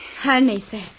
Hər nəsə.